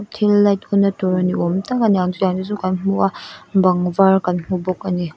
thil light on natur niawmtak aniang chutiang te chu kan hmu a bang var kan hmu bawk ani.